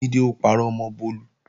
Jídé ó parọ́ mọ́ Bólú